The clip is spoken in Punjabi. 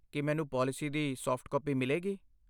ਕੀ ਮੈਨੂੰ ਪਾਲਿਸੀ ਦੀ ਸਾਫਟ ਕਾਪੀ ਮਿਲੇਗੀ?